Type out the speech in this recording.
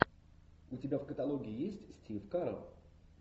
у тебя в каталоге есть стив карелл